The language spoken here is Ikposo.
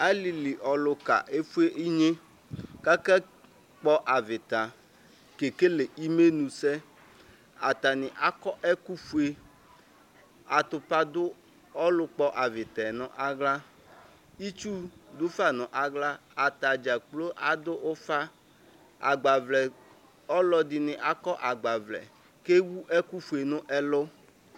Alili ɔluka efue inye kaka akpɔ avita kekele imenʋsɛ atani akɔ ɛkʋfue atupa dʋ ɔlʋkpɔ avita yɛ nʋ aɣla itsu dufa nʋ aɣla atadza kplo adʋ ufa ɔlɔdini akɔ agbavlɛ kʋ ewʋ ɛkʋfue nʋ ɛlʋ